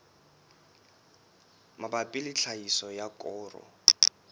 mabapi le tlhahiso ya koro